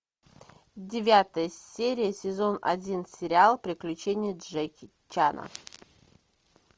девятая серия сезон один сериал приключения джеки чана